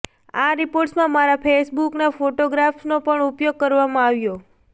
આ રિપોર્ટ્સમાં મારા ફેસબૂક ફોટોગ્રાફ્સનો પણ ઉપયોગ કરવામાં આવ્યો